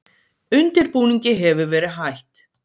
Undirbúningi hefur verið hætt